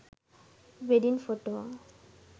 wedding photo